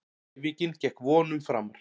En æfingin gekk vonum framar.